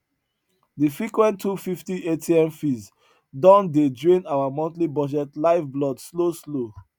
de frequent 250 atm fees don dey drain our monthly budget lifeblood slow slow